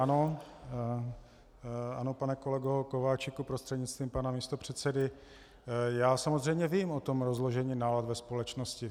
Ano, pane kolego Kováčiku prostřednictvím pana místopředsedy, já samozřejmě vím o tom rozložení nálad ve společnosti.